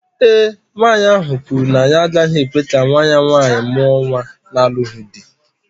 Ee e, nwanyị ahụ kwuru na ya agaghị ekwe ka nwa ya nwaanyị mụọ nwa na-alụghị di